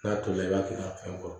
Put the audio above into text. N'a tolila i b'a kɛ ka fɛn kɔrɔ